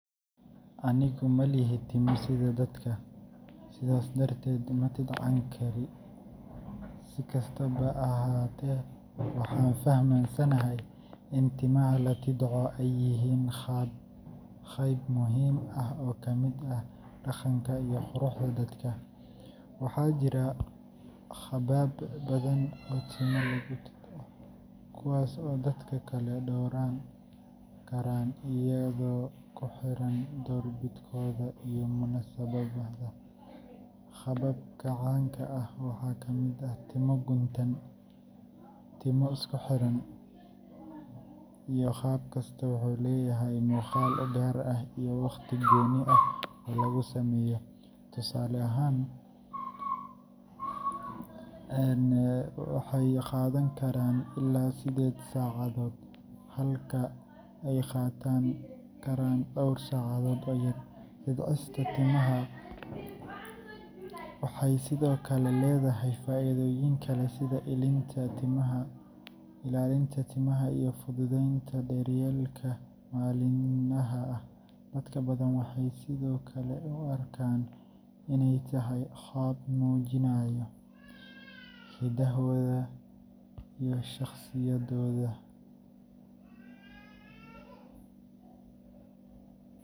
Anigu ma lihi timo sida dadka, sidaas darteed ma tidcani karo. Si kastaba ha ahaatee, waxaan fahamsanahay in timaha la tidco ay yihiin qayb muhiim ah oo ka mid ah dhaqanka iyo quruxda dadka. Waxaa jira qaabab badan oo timo lagu tidco, kuwaas oo dadka kala dooran karaan iyadoo ku xiran doorbidkooda iyo munaasabadda. Qaababka caanka ah waxaa ka mid ah timo guntan box braids, timo isku xiran cornrows, iyo twists. Qaab kasta wuxuu leeyahay muuqaal u gaar ah iyo waqti gooni ah oo lagu sameeyo. Tusaale ahaan, box braids waxay qaadan karaan ilaa siddeed saacadood, halka cornrows ay qaadan karaan dhowr saacadood oo yar. Tidcista timaha waxay sidoo kale leedahay faa’iidooyin kale sida ilaalinta timaha iyo fududeynta daryeelka maalinlaha ah. Dad badan waxay sidoo kale u arkaan inay tahay qaab muujinaya hiddahooda iyo shakhsiyadooda.